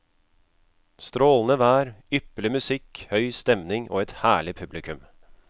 Strålende vær, ypperlig musikk, høy stemning og et herlig publikum.